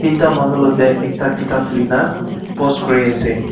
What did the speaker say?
eenta manu lotae ekta kitap luina post kuriase.